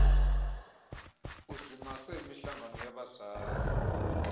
uzimase imihlangano yabazali